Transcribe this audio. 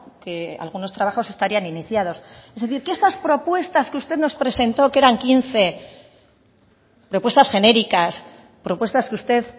que algunos trabajos estarían iniciados es decir que estas propuestas que usted nos presentó que eran quince propuestas genéricas propuestas que usted